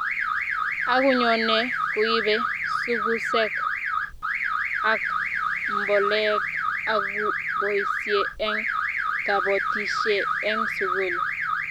akunyone kuibe sukusek ak mboleek akuboisie eng' kabotisie eng' sukul